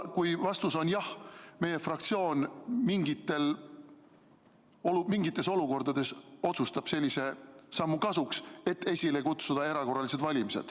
Kui vastus on jah, siis meie fraktsioon mingites olukordades võib-olla otsustab sellise sammu kasuks, et esile kutsuda erakorralised valimised.